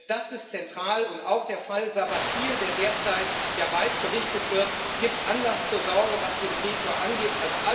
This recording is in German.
Das ist zentral, und auch der Fall Sabathil, der derzeit ja weit berichtet wird, gibt Anlass zur Sorge, was den Drehtür Effekt angeht.